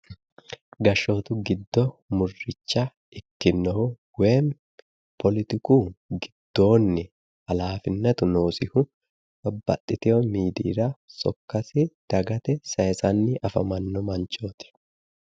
Gashshootu giddo murricha ikkinnohu woyi politiku giddoonni alaafinnatu noosihu babbaxxitiwo miidiyira sokkasi dagate sayisanni afamanno manchooti.